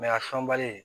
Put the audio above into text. a sɔnbali